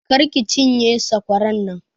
Kar ki cinye sakwaran nan!